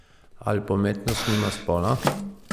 Ali pa umetnost nima spola?